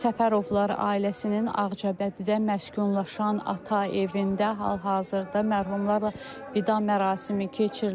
Səfərovlar ailəsinin Ağcabədidə məskunlaşan ata evində hal-hazırda mərhumlarla vida mərasimi keçirilir.